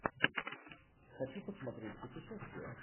хочу посмотреть путешествие